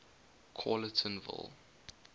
callertonville